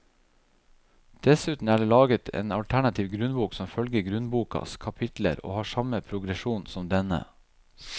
Dessuten er det laget en alternativ grunnbok som følger grunnbokas kapitler og har samme progresjon som denne.